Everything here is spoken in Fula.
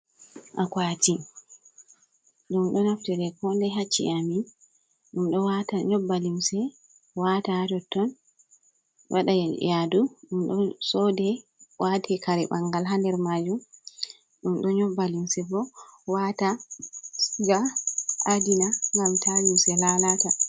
Akuati dum do naftire kode haciye amin ,dum nyobba limse watatotton wadayadu dum do sode wate kare bangal hader majum dum do nyobba limse bo wata ga adina gam ta limse lalata.